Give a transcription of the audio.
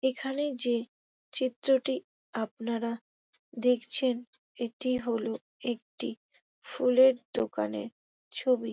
এখানে যে চিত্রটি আপনারা দেখছেন | এটি হলো একটি ফুলের দোকানের ছবি।